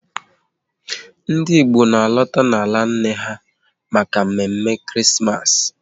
Ndị Igbo na alota n'ala nna ha maka mme mme Krismas